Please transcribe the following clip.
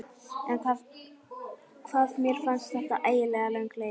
En hvað mér fannst þetta ægilega löng leið.